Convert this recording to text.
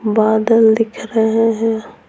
बादल दिख रहे हैं।